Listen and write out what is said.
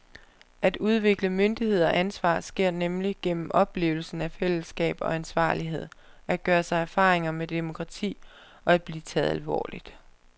At udvikle myndighed og ansvar sker nemlig gennem oplevelsen af fællesskab og ansvarlighed, at gøre sig erfaringer med demokrati og at blive taget alvorligt.